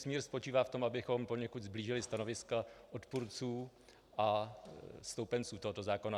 Smír spočívá v tom, abychom poněkud sblížili stanoviska odpůrců a stoupenců tohoto zákona.